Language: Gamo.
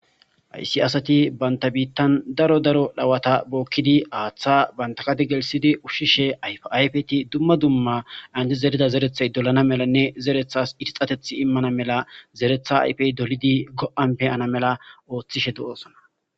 Ayssi asati banta biittan daro daro dhawata bookkidi aaththa bantakadi gelsidi ushshishe yfayfeti dumma dumma andi zerida zerethay dolana melanne zerethas irxateth immana mela zeretha ayfey dolidi go7anpeyana mela ooththishe do7osona.